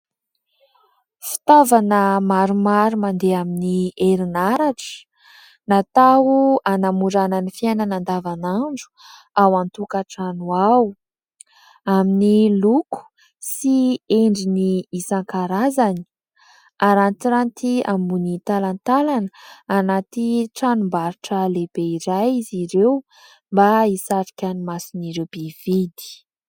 Fitaovana maromaro mandeha amin'ny herinaratra, natao hanamorana ny fiainana andavanandro ao an-tokatrano ao. Amin'ny loko sy endriny isankarazany, arantiranty ambony talantalana, anaty tranombarotra lehibe iray izy ireo, mba hisarika ny mason'ireo mpividy.